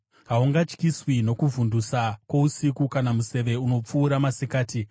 Haungatyiswi nokuvhundutsa kwousiku, kana museve unopfurwa masikati,